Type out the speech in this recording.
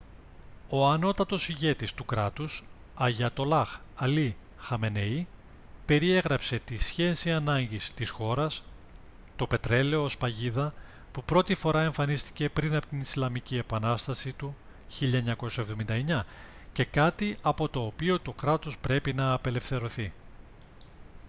ο ανώτατος ηγέτης του κράτους αγιατολλάχ αλί χαμενεΐ περιέγραψε την σχέση ανάγκης της χώρας το πετρέλαιο ως «παγίδα» που πρώτη φορά εμφανίστηκε πριν από την ισλαμική επανάσταση του 1979 και κάτι από το οποίο το κράτος πρέπει να απελευθερωθεί